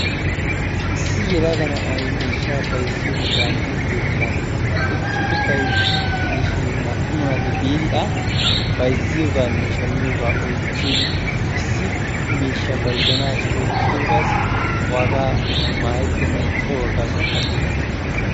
Issi yelaga na'ay miishshaa bayzziyonne laammiyo keettan eqqidi bayzziidde de'ishin naa"u naati A bayzziyogaanne shammiyogaa oychchin issi miishshaa bayzzanaassi oychchidoogaassi waagaa maayettennan ixxiyogaa gaasuwan aggidi biidosona.